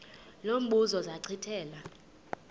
lo mbuzo zachithela